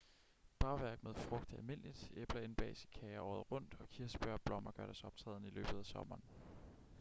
bagværk med frugt er almindeligt æbler indbages i kager året rundt og kirsebær og blommer gør deres optræden i løbet af sommeren